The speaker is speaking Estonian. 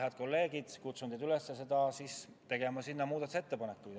Head kolleegid, kutsun teid üles tegema sellesse muudatusettepanekuid.